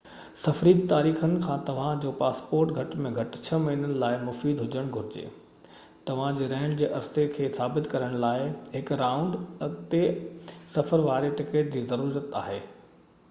سفري تاريخن کان توهان جو پاسپورٽ گهٽ ۾ گهٽ 6 مهينن لاءِ مفيد هجڻ گهرجي. توهان جي رهڻ جي عرصي کي ثابت ڪرڻ لاءِ هڪ رائونڊ/اڳتي سفر واري ٽڪيٽ جي ضرورت آهي